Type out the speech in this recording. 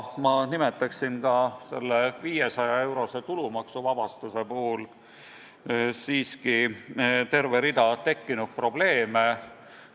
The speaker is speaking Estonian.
Märgin ka seda, et selle 500-eurose tulumaksuvabastuse puhul on tekkinud terve rida probleeme.